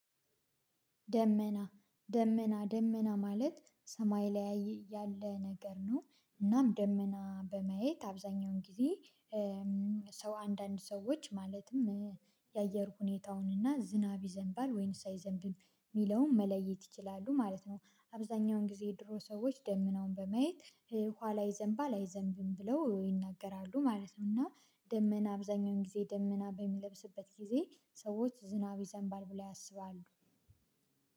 ደመና ደመና ደመና ማለት ሰማይ ላይ ያለ ነገር ነው እናም ደመና በማየት አብዛኛውን ጊዜ ሰው አንዳንድ ሰዎች ማለትም የአየር ሁኔታውን እና ዝናብ ይዘንባል ወይንስ አይዘንብም የሚለውን መለየት ይችላሉ ማለት ነው። አብዛኛውን ጊዜ የድሮ ሰዎች ደመናውን በመየት ኋላ ይዘንባል አይዘንብም ብለው ይናገራሉ ማለት ነው። እና ደመና አብዛኛውን ጊዜ ደመና በሚለብስበት ጊዜ ሰዎች ዝናብ ይዘንባል ብለው ያስባሉ።